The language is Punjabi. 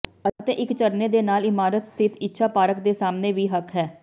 ਅਤੇ ਇੱਕ ਝਰਨੇ ਦੇ ਨਾਲ ਇਮਾਰਤ ਸਥਿਤ ਇੱਛਾ ਪਾਰਕ ਦੇ ਸਾਹਮਣੇ ਵੀ ਹੱਕ ਹੈ